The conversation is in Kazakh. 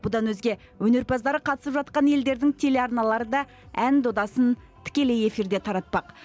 бұдан өзге өнерпаздары қатысып жатқан елдердің телеарналары да ән додасын тікелей эфирде таратпақ